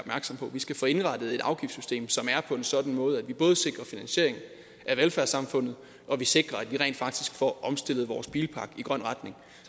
på vi skal få indrettet et afgiftssystem som er på en sådan måde at vi både sikrer finansiering af velfærdssamfundet og sikrer at vi rent faktisk får omstillet vores bilpark i en grøn retning